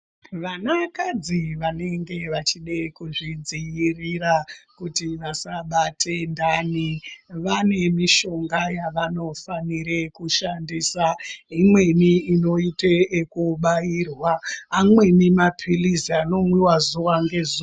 Vana kadzi vanenge vachida kuzvidzivirira kuti vasabate ndani vane mishonga yavanofanira kushandisa imweni inoita yekubairwa amweni mapirizi anomwiwa zuwa ngezuwa.